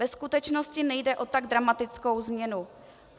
Ve skutečnosti nejde o tak dramatickou změnu.